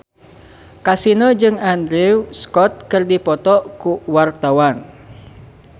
Kasino jeung Andrew Scott keur dipoto ku wartawan